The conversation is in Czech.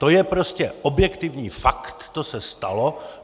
To je prostě objektivní fakt, to se stalo.